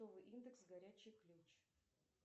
индекс горячий ключ